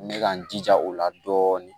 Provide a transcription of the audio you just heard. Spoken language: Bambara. N bɛ ka n jija o la dɔɔni